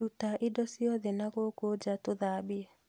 Ruta indo iothe nagũkũ nja tũthambie